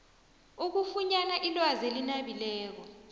ukufunyana ilwazi elinabileko